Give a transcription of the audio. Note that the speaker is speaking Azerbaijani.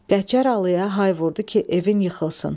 Qəçər alıya hay vurdu ki, evin yıxılsın.